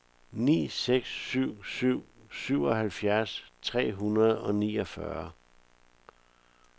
ni seks syv syv syvoghalvfjerds tre hundrede og niogfyrre